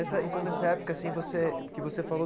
Nessa então, nessa época assim você que você falou,